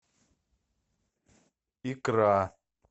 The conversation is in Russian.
икра